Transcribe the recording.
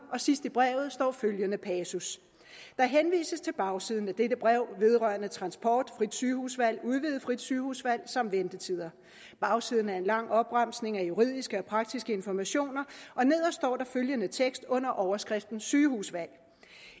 sidst i brevet står følgende passus der henvises til bagsiden af dette brev vedrørende transport frit sygehusvalg udvidet frit sygehusvalg samt ventetider bagsiden er en lang opremsning af juridiske og praktiske informationer og nederst står der følgende tekst under overskriften sygehusvalg